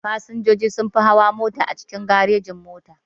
Fasinjoji sunfi hawa mota a cikin garejin-mota.